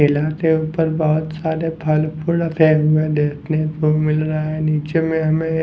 ऊपर बहुत सारे फलपुर देखने को मिल रहा है नीचे में हमें --